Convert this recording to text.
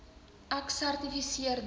ek sertifiseer dat